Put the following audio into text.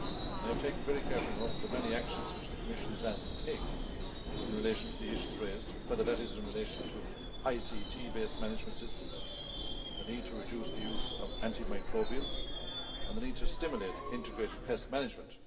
I have taken very careful note of the many actions which the Commission is asked to take in relation to the issues raised, whether that is in relation to ICT based management systems, the need to reduce the use of antimicrobials, or the need to stimulate integrated pest management.